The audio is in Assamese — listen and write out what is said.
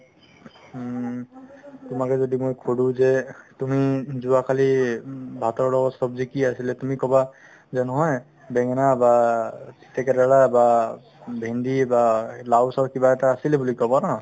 হুম তোমাকে যদি মই সুধো যে তুমি যোৱাকালি উম ভাতৰ লগত ছব্জি কি আছিলে তুমি ক'বা যে নহয় বেঙেনা বা তিতাকেৰেলা বা ভেণ্ডি বা এই লাউ চাউ কিবা এটা আছিলে বুলি ক'বা ন